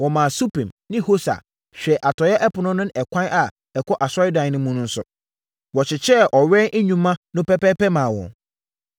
Wɔmaa Supim ne Hosa hwɛɛ atɔeɛ ɛpono no ne ɛkwan a ɛkɔ asɔredan no mu no so. Wɔkyekyɛɛ ɔwɛn nnwuma no pɛpɛɛpɛ maa wɔn.